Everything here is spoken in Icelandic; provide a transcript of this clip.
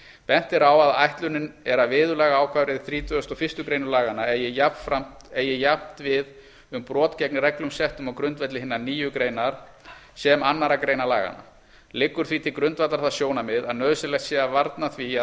bent er á að ætlunin er að viðurlagaákvæði þrítugasta og fyrstu grein laganna eigi jafnt við um brot gegn reglum settum á grundvelli hinnar nýju greinar sem annarra greina laganna liggur því til grundvallar það sjónarmið að nauðsynlegt sé að varna því